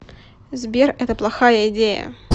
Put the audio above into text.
сбер это плохая идея